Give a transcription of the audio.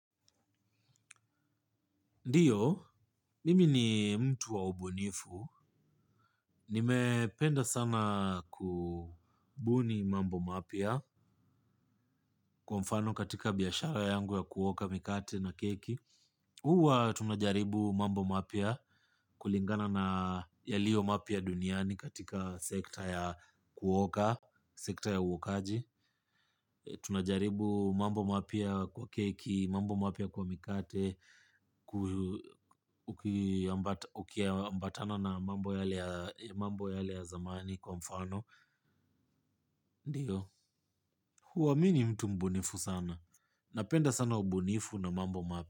Ndiyo, mimi ni mtu wa ubunifu. Nimependa sana kubuni mambo mapya, kwa mfano katika biashara yangu ya kuoka mikate na keki. Huwa tunajaribu mambo mapya kulingana na yaliyo mapya duniani katika sekta ya kuoka, sekta ya uokaji. Tunajaribu mambo mapya kwa keki, mambo mapya kwa mikate. Ukiambatana na mambo yale ya zamani kwa mfano ndiyo, huwa mi ni mtu mbunifu sana. Napenda sana ubunifu na mambo mapya.